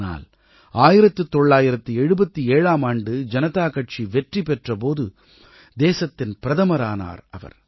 ஆனால் 1977ஆம் ஆண்டு ஜனதா கட்சி வெற்றி பெற்ற போது தேசத்தின் பிரதமரானார் அவர்